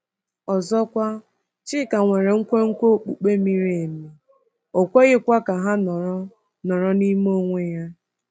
Ọzọkwa, Chika nwere nkwenkwe okpukpe miri emi, o kweghịkwa ka ha nọrọ nọrọ n’ime onwe ya.